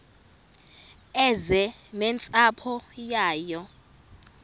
eze nentsapho yayo